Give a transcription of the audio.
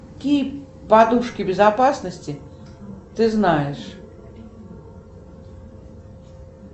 какие подушки безопасности ты знаешь